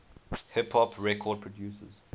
hip hop record producers